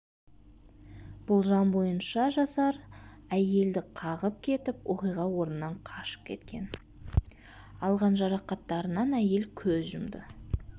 болжам бойынша жасар әйелді қағып кетіп оқиға орнынан қашып кеткен алған жарақаттарынан әйел көз жұмды